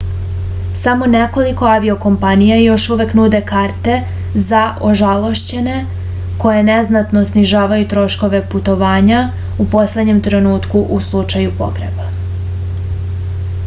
samo nekoliko aviokompanija još uvek nude karte za ožalošćene koje neznatno snižavaju troškove putovanja u poslednjem trenutku u slučaju pogreba